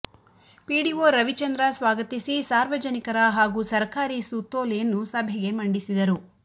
PDO Ravichandra ಸ್ವಾಗತಿಸಿ ಸಾರ್ವಜನಿಕರ ಹಾಗೂ ಸರಕಾರಿ ಸುತ್ತೋಲೆಯನ್ನು ಸಭೆಗೆ ಮಂಡಿಸಿದರು